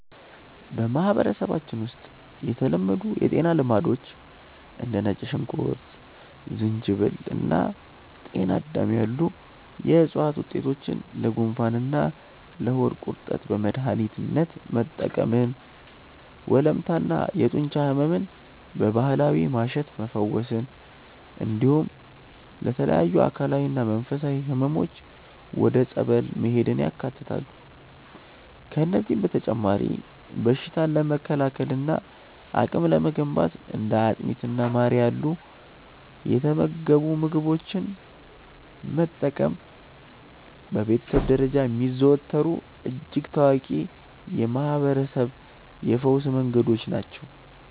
በማህበረሰባችን ውስጥ የተለመዱ የጤና ልማዶች እንደ ነጭ ሽንኩርት፣ ዝንጅብል እና ጤናዳም ያሉ የዕፅዋት ውጤቶችን ለጉንፋንና ለሆድ ቁርጠት በመድኃኒትነት መጠቀምን፣ ወለምታና የጡንቻ ሕመምን በባህላዊ ማሸት መፈወስን፣ እንዲሁም ለተለያዩ አካላዊና መንፈሳዊ ሕመሞች ወደ ጸበል መሄድን ያካትታሉ። ከእነዚህም በተጨማሪ በሽታን ለመከላከልና አቅም ለመገንባት እንደ አጥሚትና ማር ያሉ የተመገቡ ምግቦችን መጠቀም በቤተሰብ ደረጃ የሚዘወተሩ እጅግ ታዋቂ የማህርበረሰብ የፈውስ መንገዶች ናቸው።